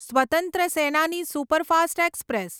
સ્વતંત્ર સેનાની superfast express